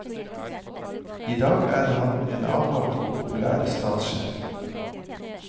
I dag er han en avholdt og populær statssjef.